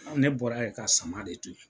Ne bɔra yen ka sama de to yen.